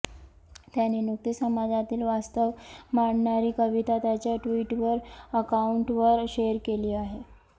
त्याने नुकतेच समाजातील वास्तव मांडणारी कविता त्याच्या ट्विटर अकाउंटवर शेअर केली आहे